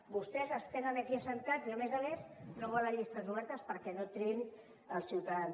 vostès els tenen aquí asseguts i a més a més no volen llistes obertes perquè no triïn els ciutadans